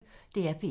DR P1